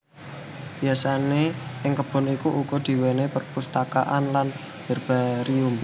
Biasane ing kebon iki ugo duweni perpustakaan lan herbarium